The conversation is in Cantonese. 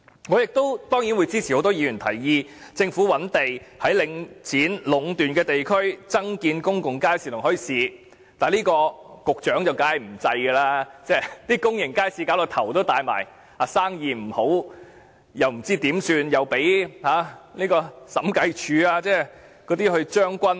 我當然支持很多議員的提議，也就是政府應覓地在領展壟斷的地區增建公眾街市和墟市，但局長一定不會採納這建議，公眾街市已令局長苦惱不已，例如生意不好，又不知如何是好，更被審計署"將軍"。